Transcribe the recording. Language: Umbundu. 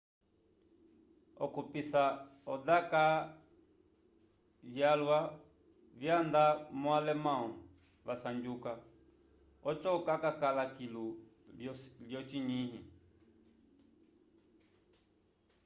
okupissa o daka vyalwa vyanda monalemão va sanjuka oco cakala kilo yo cinyi